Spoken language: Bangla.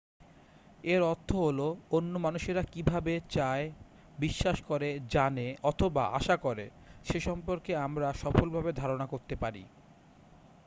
এর অর্থ হলো অন্য মানুষরা কি ভাবে চায় বিশ্বাস করে জানে অথবা আশা করে সে সম্পর্কে আমরা সফলভাবে ধারণা করতে পারি